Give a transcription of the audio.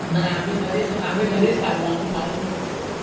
नाय आम्ही घरीच आम्ही घरीच खाल्लं आम्ही गावी नाय खाल्लं.